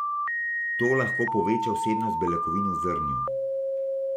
To lahko poveča vsebnost beljakovin v zrnju.